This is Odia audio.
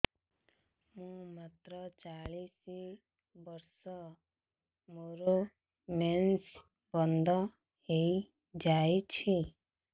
ମୁଁ ମାତ୍ର ଚାଳିଶ ବର୍ଷ ମୋର ମେନ୍ସ ବନ୍ଦ ହେଇଯାଇଛି